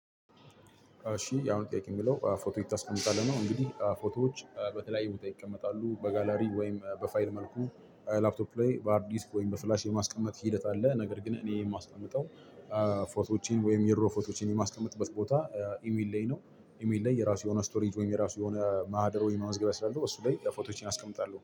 እሺ ያው ጠይቄ የሚለው ፎቶ የት ታስቀምጣለህ ነው? እንግዲህ ፎቶዎች በተለያዩ ቦታ ይቀመጣሉ በጋላሪ ወይም በፋይል መልኩ ላፕቶፕ ላይ በሃርዲስክ ወይም በፍላሽ የማስቀመጥ ሂደት አለ። ነገር ግን እኔ የማስቀምጠው ፎቶዎቼን ወይም የድሮ ፎቶዎችን የማስቀመጥበት ቦታ ኢሜል ላይ ነው። ኢሜል ላይ የራሱ የሆነ ስቶሪ ወይም የራሱ የሆነ ማህደር ወይም ማመዝገቢያ ስላለው እሱ ላይ ለፎቶዎቼ አስቀምጣለሁ